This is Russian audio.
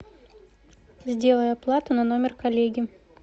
сделай оплату на номер коллеги